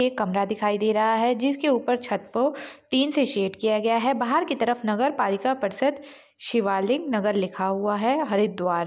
एक कमरा दिखाई दे रहा है जिसके ऊपर छत को टीन से शैड किया गया है बाहर की तरफ नगर पालिका परिषद शिवालिक नगर लिखा हुआ है हरिद्वार --